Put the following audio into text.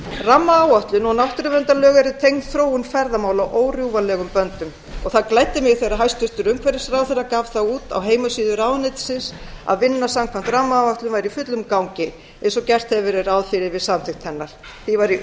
rammaáætlun og náttúruverndarlög eru tengd þróun ferðamála órjúfanlegum böndum og það gladdi mig þegar hæstvirtur umhverfisráðherra gaf það út á heimasíðu ráðuneytisins að vinna samkvæmt rammaáætlun væri í fullum gangi eins og gert hefur verið ráð fyrir við samþykkt hennar því varð ég